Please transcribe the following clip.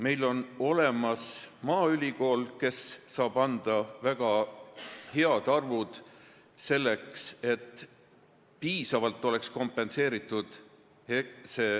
Meil on olemas maaülikool, kes saab meile öelda väga õiged arvud, et see aktsiisimäär oleks piisavalt kompenseeritud.